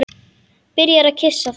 Byrjar að kyssa það.